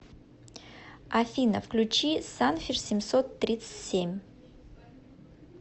афина включи санфиш семьсот трицть семь